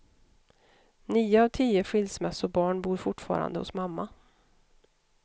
Nio av tio skilsmässobarn bor fortfarande hos mamma.